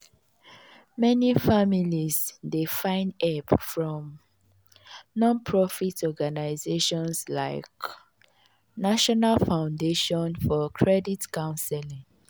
meni families dey find hep from non-profit organizations like national foundation for credit counseling.